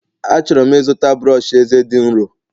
A chọrọ m ịzụta brọsh eze dị nro